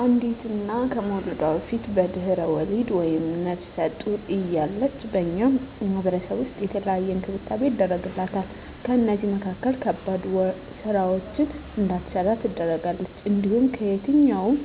አንዲት እና ከመዉለዷ በፊት(በድሕረ ወሊድ)ወይም ነብሰ ጡር እያለች በእኛ ማህበረሰብ ዉስጥ የተለየ እንክብካቤ ይደረግላታል ከእነዚህም መካከል ከባድ ስራወችን እንዳትሰራ ትደረጋለች። እንዲሁም ከየትኛዉም